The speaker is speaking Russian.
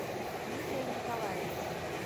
дмитрия николаевича